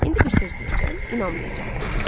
İndi bir söz deyəcəm, inanmayacaqsınız.